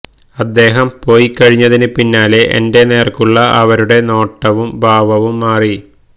അദ്ദേഹം പോയിക്കഴിഞ്ഞതിന് പിന്നാലെ എന്റെ നേര്ക്കുള്ള അവരുടെ നോട്ടവും ഭാവവും മാറി